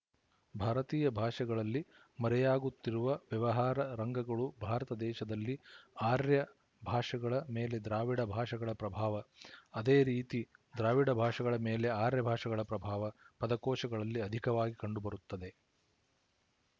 ಭಾರತೀಯ ಭಾಷೆಗಳಲ್ಲಿ ಮರೆಯಾಗುತ್ತಿರುವ ವ್ಯವಹಾರ ರಂಗಗಳು ಭಾರತ ದೇಶದಲ್ಲಿ ಆರ್ಯ ಭಾಷೆಗಳ ಮೇಲೆ ದ್ರಾವಿಡ ಭಾಷೆಗಳ ಪ್ರಭಾವ ಅದೇ ರೀತಿ ದ್ರಾವಿಡ ಭಾಷೆಗಳ ಮೇಲೆ ಆರ್ಯ ಭಾಷೆಗಳ ಪ್ರಭಾವ ಪದಕೋಶಗಳಲ್ಲಿ ಅಧಿಕವಾಗಿ ಕಂಡುಬರುತ್ತದೆ